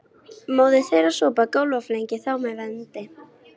Móðir þeirra sópar gólf og flengir þá með vendi